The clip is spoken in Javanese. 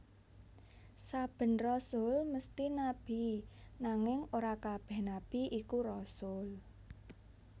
Saben rasul mesthi nabi nanging ora kabèh nabi iku rasul